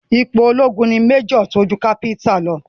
Ipò ológun ni Major tó ju ipò Captain lọ.